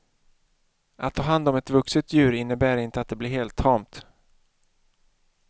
Att ta hand om ett vuxet djur innebär inte att det blir helt tamt.